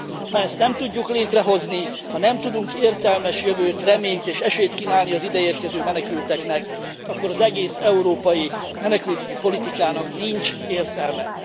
Ha ezt nem tudjuk létrehozni, ha nem tudunk értelmes jövőt, reményt és esélyt kínálni az ideérkező menekülteknek, akkor az egész európai menekültügyi politikának nincs értelme.